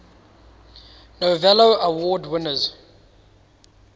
novello award winners